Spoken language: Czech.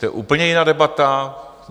To je úplně jiná debata.